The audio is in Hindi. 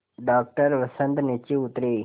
डॉक्टर वसंत नीचे उतरे